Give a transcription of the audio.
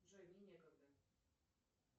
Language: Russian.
джой мне некогда